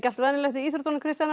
íþróttirnar Kristjana